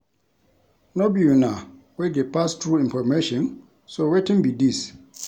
No be una wey dey pass true information so wetin be dis?